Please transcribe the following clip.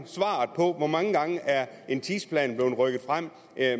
en tidsplan rykket frem